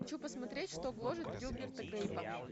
хочу посмотреть что гложет гилберта грейпа